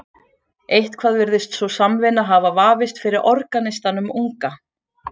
Eitthvað virðist sú samvinna hafa vafist fyrir organistanum unga.